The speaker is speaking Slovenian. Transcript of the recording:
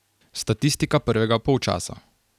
Statistika prvega polčasa.